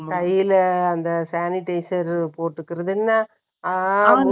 கையில, அந்த sanitizer போட்டுக்கறதுன்னா,